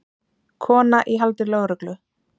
Kona í haldi lögreglu